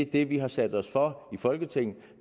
det vi har sat os for i folketinget